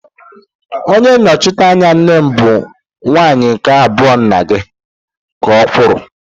Onye nnọchiteanya nne bụ nwunye nke abụọ nna gi, ka okwuru.